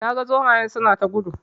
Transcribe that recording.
Na ga zomayen suna ta gudu